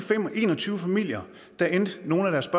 en og tyve familier endte nogle af deres